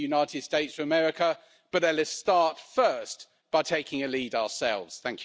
It states that EU-China cooperation should be more people oriented.